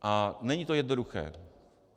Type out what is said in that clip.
A není to jednoduché.